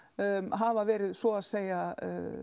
hafa verið svo að segja